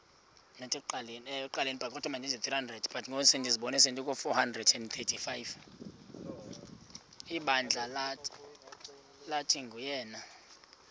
ibandla lathi nguyena